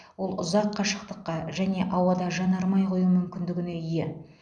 ол ұзақ қашықтыққа және ауада жанармай құю мүмкіндігіне ие